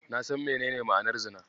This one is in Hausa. Na san menene ma'anar Zina.